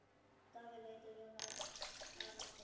Daði leit á Jón Arason.